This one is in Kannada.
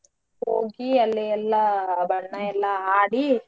ಹೋಗಿ ಅಲ್ಲೆ ಎಲ್ಲಾ ಬಣ್ಣಾ ಎಲ್ಲಾ ಆಡಿ.